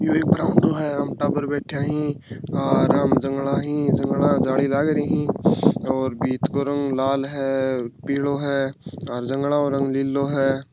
यो एक ब्रावंडो है एम टाबर बैठा है और आम जांगला है जांगला के जाली लाग रही है और भीत को रंग लाल है पीला है और जांगला रंग नीलों है।